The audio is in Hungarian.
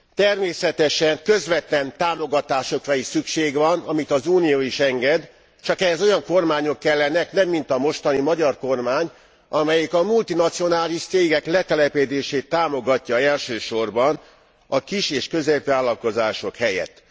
Természetesen közvetlen támogatásokra is szükség van, amit az Unió is enged, csak ehhez nem olyan kormányok kellenek, mint a mostani magyar kormány, amely a multinacionális cégek letelepedését támogatja elsősorban, a kis és középvállalkozások helyett.